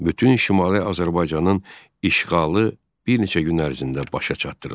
Bütün Şimali Azərbaycanın işğalı bir neçə gün ərzində başa çatdırıldı.